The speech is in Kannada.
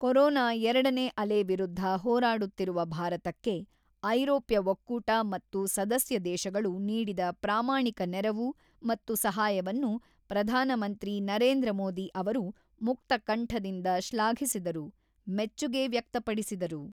ಕೊರೊನಾ ಎರಡನೇ ಅಲೆ ವಿರುದ್ಧ ಹೋರಾಡುತ್ತಿರುವ ಭಾರತಕ್ಕೆ ಐರೋಪ್ಯ ಒಕ್ಕೂಟ ಮತ್ತು ಸದಸ್ಯ ದೇಶಗಳು ನೀಡಿದ ಪ್ರಾಮಾಣಿಕ ನೆರವು ಮತ್ತು ಸಹಾಯವನ್ನು ಪ್ರಧಾನ ಮಂತ್ರಿ ನರೇಂದ್ರ ಮೋದಿ ಅವರು ಮುಕ್ತಕಂಠದಿಂದ ಶ್ಲಾಘಿಸಿದರು, ಮೆಚ್ಚುಗೆ ವ್ಯಕ್ತಪಡಿಸಿದರು.